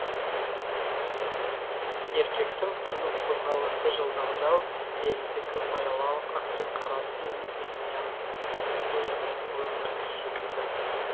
еркектің қимыл қозғалысы жылдамдау әйелдікі баяулау ақ пен қара инь мен янь өлім мен өмір секілді